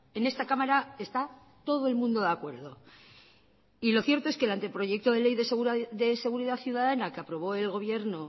en esta cámara está todo el mundo de acuerdo y lo cierto es que el anteproyecto de ley de seguridad ciudadana que aprobó el gobierno